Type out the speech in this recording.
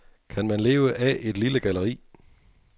Kan man leve af et lille galleri?